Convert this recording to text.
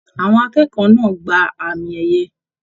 Àwọn akẹ́kọ̀ọ́ náà gbà àmi ẹyẹ.